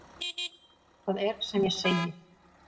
Það er sem ég segi.